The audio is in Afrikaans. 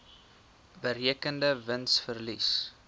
berekende wins verlies